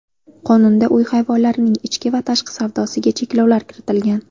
Qonunda uy hayvonlarining ichki va tashqi savdosiga cheklovlar keltirilgan.